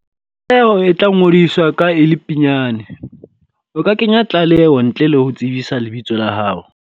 Leho e tlangodiswa ka e le pinyane. O ka kenya tlaleo ntle le ho tsebisa lebitso la hao.